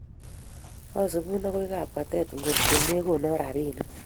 Asubun akoi kapkatete ngot ko mekonon rapinik